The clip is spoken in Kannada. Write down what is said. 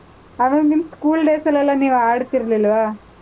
ಆವಾಗಿನ್ school days ಅಲ್ಲೆಲ್ಲಾ ನೀವ್ ಆಡ್ತಿರ್ಲಿಲ್ವಾ?